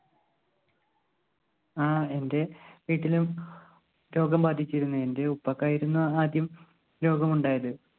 ആ എന്റെ വീട്ടിലും രോഗം ബാധിച്ചിരുന്നു. എന്റെ ഉപ്പക്കായിരുന്നു ആദ്യം രോഗം ഉണ്ടായത്.